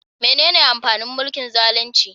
Menene amfanin mulkin zalunci?